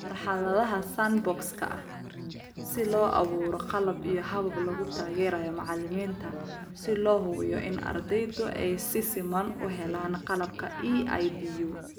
Marxaladda sandbox-ka si loo abuuro qalab iyo habab lagu taageerayo macalimiinta si loo hubiyo in ardaydu ay si siman u helaan qalabka EIDU.